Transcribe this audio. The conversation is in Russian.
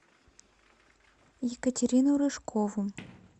екатерину рыжкову